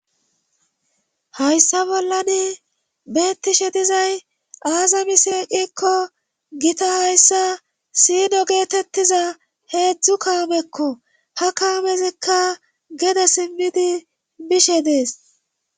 Hayssa bollani beettishe dizay aazamiseeqikko gita hayssa siino geetettiza heetzdtzu kaamekko ha kaamezikka gede simmidi bishe dees.